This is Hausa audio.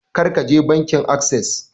Kar ka je bankin assess!